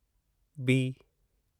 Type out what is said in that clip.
B